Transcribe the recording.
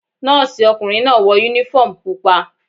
Nọ́ọ̀sì ọkùnrin náà wọ uniform pupa.